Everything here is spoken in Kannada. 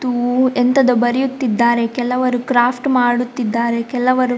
ತು ಎಂತದೋ ಬರೆಯುತ್ತಿದ್ದಾರೆ ಕೆಲವರು ಕ್ರಾಫ್ಟ್‌ ಮಾಡುತ್ತಿದ್ದಾರೆ ಕೆಲವರು.